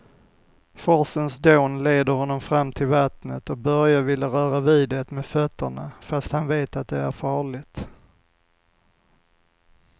Forsens dån leder honom fram till vattnet och Börje vill röra vid det med fötterna, fast han vet att det är farligt.